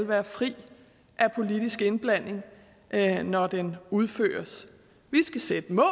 være fri af politisk indblanding når når den udføres vi skal sætte mål